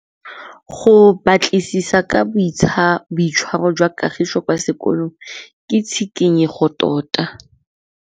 Go batlisisa ka boitshwaro jwa Kagiso kwa sekolong ke tshikinyêgô tota.